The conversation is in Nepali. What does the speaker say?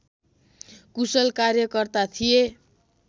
कुशल कार्यकर्ता थिए